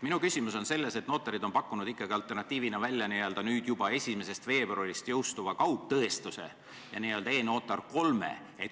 Minu küsimus on selles, et notarid on pakkunud alternatiivina välja juba 1. veebruarist jõustuva kaugtõestuse ja n-ö e-notar 3.